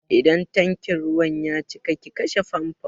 Idan tankin ruwan ya cika ki kashe famfon!